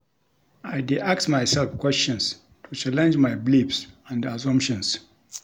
I dey ask myself questions to challenge my beliefs and assumptions.